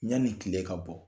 Yani tile ka bɔ